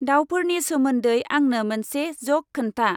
दावफोरनि सोमोन्दै आंनो मोनसे ज'क खोन्था।